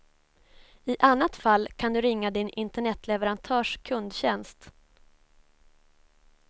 I annat fall kan du ringa din internetleverantörs kundtjänst.